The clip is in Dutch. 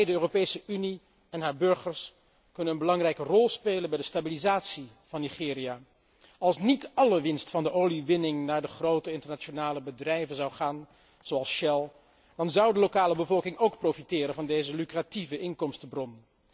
En wij, de Europese Unie en haar burgers, kunnen een belangrijke rol spelen bij de stabilisatie van Nigeria. Als niet alle winst van de oliewinning naar de grote internationale bedrijven zoals Shell zou gaan, dan zou de lokale bevolking ook profiteren van deze lucratieve inkomstenbron.